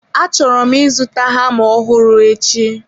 Achọrọ m ịzụta hama ọhụrụ echi.